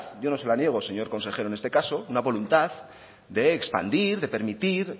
yo no sé la niego señor consejero en este caso una voluntad de expandir de permitir